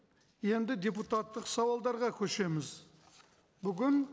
енді депутаттық сауалдарға көшеміз бүгін